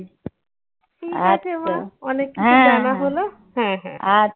ঠিকাছে মা অনেক কিছু